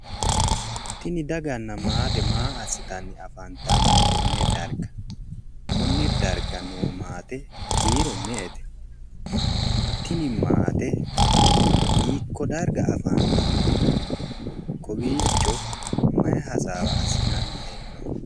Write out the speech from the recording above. tini daganna maate maa assitanni afantanno konne darga?, konne darga noo maate kiiro me''ete?, tini maate hiikko darga afantanno? kowiicho mayi hasaawa assinanni hee'noonni?